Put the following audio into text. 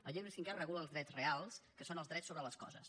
el llibre cinquè regula els drets reals que són els drets sobre les coses